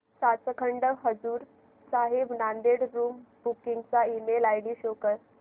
Sachkhand Hazur Sahib Nanded room booking चा email ID show कर